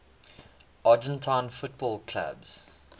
argentine football clubs